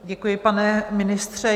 Děkuji, pane ministře.